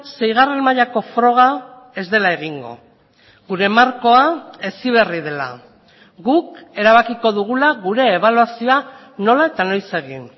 seigarren mailako froga ez dela egingo gure markoa heziberri dela guk erabakiko dugula gure ebaluazioa nola eta noiz egin